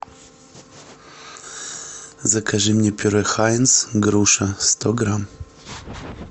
закажи мне пюре хайнц груша сто грамм